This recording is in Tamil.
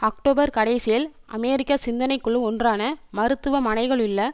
அக்டோபர் கடைசியில் அமெரிக்க சிந்தனைக்குழு ஒன்றான மருத்துவமனைகளிலுள்ள